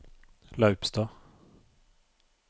Laupstad